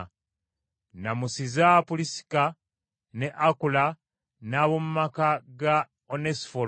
Nnamusiza Pulisika ne Akula n’ab’omu maka ga Onesifolo.